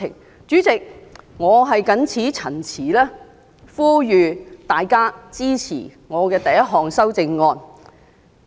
代理主席，我謹此陳辭，呼籲大家支持我第一項修正案。